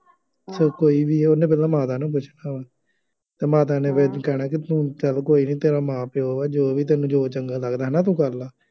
ਚਾਹੇ ਕੋਈ ਵੀ ਆ, ਉਹਨੇ ਪਹਿਲਾਂ ਮਾਤਾ ਨੂੰ ਪੁੱਛਣਾ ਵਾ, ਅਤੇ ਮਾਤਾ ਨੇ ਫੇਰ ਕਹਿਣਾ ਕਿ ਤੂੰ ਚੱਲ ਕੋਈ ਨਹੀਂ ਤੇਰਾ ਮਾਂ ਪਿਉ ਆ, ਜੋ ਵੀ ਤੈਨੂੰ ਜੋ ਚੰਗਾ ਲੱਗਦਾ ਹੈ ਨਾ ਤੂੰ ਕਰ ਲੈ